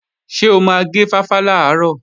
Ṣé o máa gé fáfá làárọ̀?